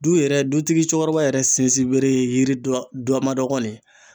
Du yɛrɛ dutigi cɛkɔrɔba yɛrɛ sinsin bere ye yiri dɔ ma dɔgɔ de ye.